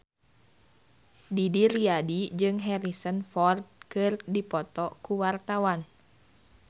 Didi Riyadi jeung Harrison Ford keur dipoto ku wartawan